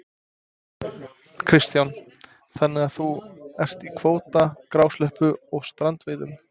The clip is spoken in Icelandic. Kristján: Þannig að þú ert í kvóta, grásleppu og strandveiðum?